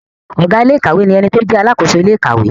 Ọ̀gá iléèkàwé ni ẹni tó jẹ́ alàkóso ilé ìkàwé